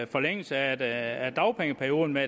forlængelse af dagpengeperioden med